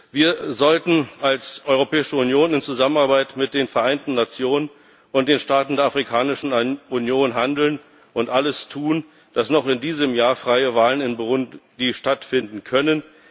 Wir sollten als Europäische Union in Zusammenarbeit mit den Vereinten Nationen und den Staaten der Afrikanischen Union handeln und alles tun, dass noch in diesem Jahr freie Wahlen in Burundi stattfinden können.